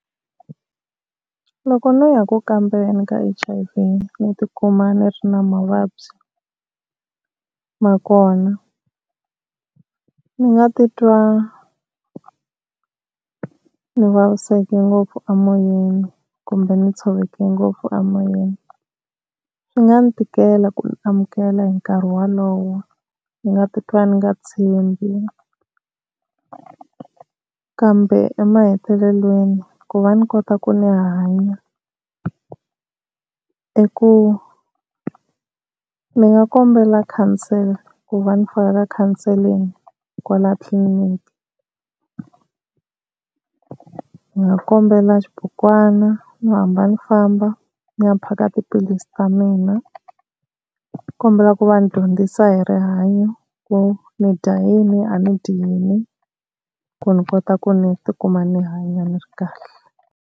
Loko no ya ku kambeni ka H_I_V ni ti kuma ni ri na mavabyi ma kona, ni nga titwa ni vaviseke ngopfu emoyeni kumbe ni tshovekile ngopfu emoyeni. Swi nga ni tikela ku ni amukela hi nkarhi wolowo ndzi nga titwa ni nga tshembi kambe emahetelelweni ku va ni kota ku ni hanya i ku ni nga kombela khansela ku va ni faka ka counselling kwala tliliniki. Ni nga kombela xibukwana ni hamba ni famba ni ya phaka tiphilisi ta mina. Nikombela ku va ni dyondzisa hi rihanyo ku ni dya yini a ni dyi yini ku ni kota ku ni ti kuma ni hanya ni ri kahle.